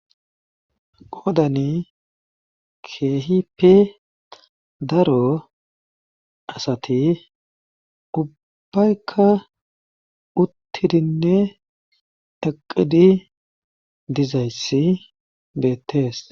qoodani keehi pe daro asati ubbaykka uttidinne taqidi dizayssi beettees